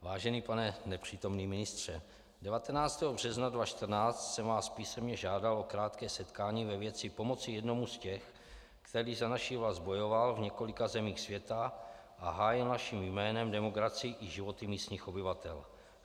Vážený pane nepřítomný ministře, 19. března 2014 jsem vás písemně žádal o krátké setkání ve věci pomoci jednomu z těch, který za naši vlast bojoval v několika zemích světa a hájil naším jménem demokracii i životy místních obyvatel.